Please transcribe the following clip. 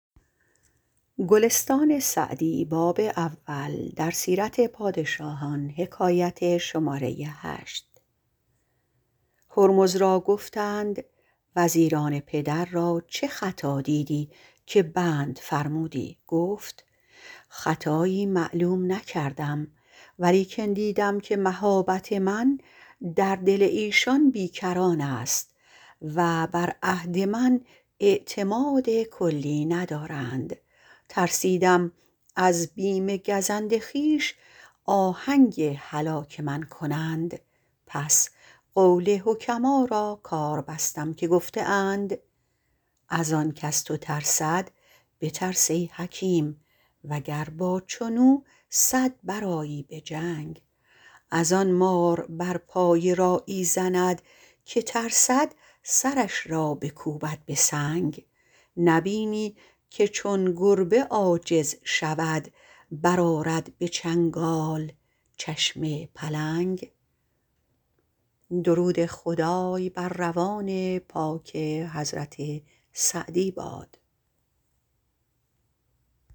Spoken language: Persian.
هرمز را گفتند وزیران پدر را چه خطا دیدی که بند فرمودی گفت خطایی معلوم نکردم ولیکن دیدم که مهابت من در دل ایشان بی کران است و بر عهد من اعتماد کلی ندارند ترسیدم از بیم گزند خویش آهنگ هلاک من کنند پس قول حکما را کار بستم که گفته اند از آن کز تو ترسد بترس ای حکیم وگر با چون او صد برآیی به جنگ از آن مار بر پای راعی زند که ترسد سرش را بکوبد به سنگ نبینی که چون گربه عاجز شود برآرد به چنگال چشم پلنگ